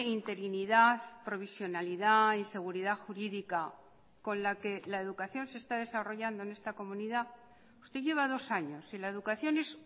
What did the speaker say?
interinidad provisionalidad y seguridad jurídica con la que la educación se está desarrollando en esta comunidad usted lleva dos años y la educación es